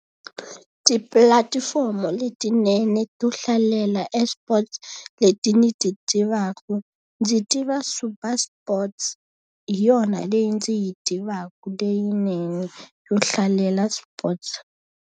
Tipulatifomo letinene to hlalela eSports leti ni ti tivaka ndzi tiva Super Sports. Hi yona leyi ndzi yi tivaka leyinene yo hlalela sports.